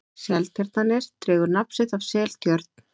seltjarnarnes dregur nafn sitt af seltjörn